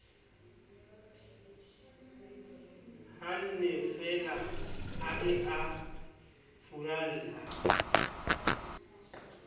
hannefeela ha eo a furalla